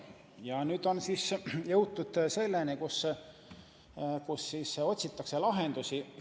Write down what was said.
Ja nüüd on jõutud selleni, et otsitakse lahendusi.